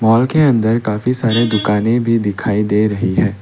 Mall के अंदर काफी सारे दुकानें भी दिखाई दे रही है।